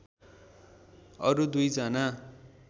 अरू दुई जना